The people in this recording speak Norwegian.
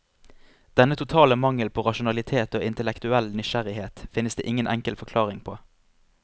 Denne totale mangel på rasjonalitet og intellektuell nysgjerrighet finnes det ingen enkel forklaring på.